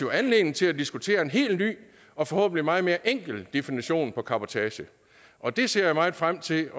anledning til at diskutere en helt ny og forhåbentlig meget mere enkel definition af cabotage og det ser jeg meget frem til